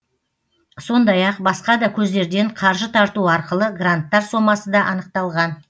сондай ақ басқа да көздерден қаржы тарту арқылы гранттар сомасы да анықталған